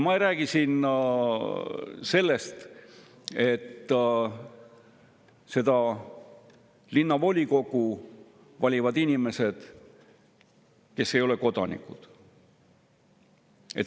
Ma ei räägi siin sellest, et linnavolikogu valivad inimesed, kes ei ole kodanikud.